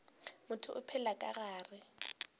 motho o phela ka gare